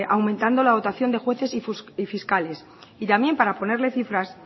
aumentando la dotación de jueces y fiscales y también para ponerle cifras